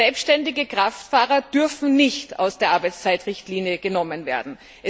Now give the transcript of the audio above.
Selbständige Kraftfahrer dürfen nicht aus der Arbeitszeitrichtlinie genommen werden.